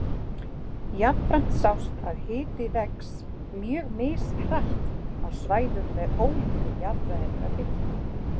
Jafnframt sást að hiti vex mjög mishratt á svæðum með ólíka jarðfræðilega byggingu.